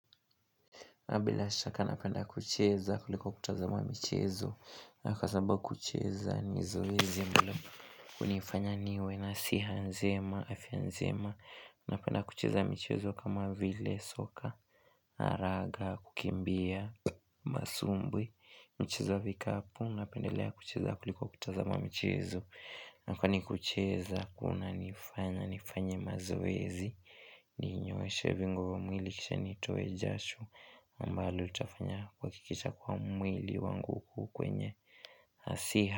Na bila shaka napenda kucheza kuliko kutazama michezo. Miaka saba kucheza ni zoezi mbila. Na kwa sababu kucheza ni zoezi Napenda kucheza michezo kama vile soka, haraga, kukimbia, masumbwi. Michezo ya vikapu napendelea kucheza kuliko kutazama michezo. Na kwani kucheza kunanifanya nifanye mazoezi. Ninyooshe viungo vya mwili kisha nitoe jasho. Mbali utafanya kuhakikisha kuwa mwili wangu uko kwenye asiha.